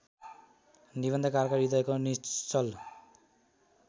निबन्धकारका हृदयको निश्चल